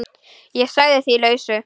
Ég sagði því lausu.